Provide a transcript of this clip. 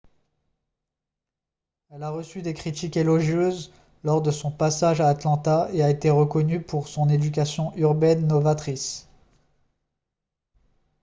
elle a reçu des critiques élogieuses lors de son passage à atlanta et a été reconnue pour son éducation urbaine novatrice